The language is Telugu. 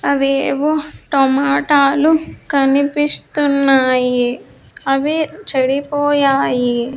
అవేవో టమాటాలు కనిపిస్తున్నాయి అవి చెడిపోయాయి.